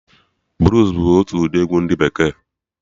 Bluus bụ otu ụdị egwu ndị bekee